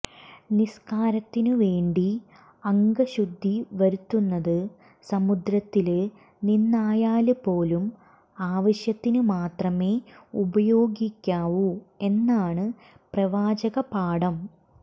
നിസ്കാരത്തിനു വേണ്ടി അംഗശുദ്ധി വരുത്തുന്നത് സമുദ്രത്തില് നിന്നായാല് പോലും ആവശ്യത്തിന് മാത്രമേ ഉപയോഗിക്കാവൂ എന്നാണ് പ്രവാചക പാഠം